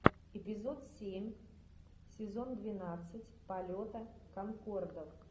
эпизод семь сезон двенадцать полета конкордов